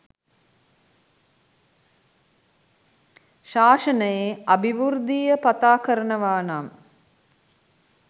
ශාසනයේ අභිවෘද්ධිය පතා කරනවා නම්